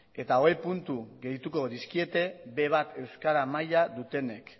eta hogei puntu gehituko dizkiete be bat euskara maila dutenek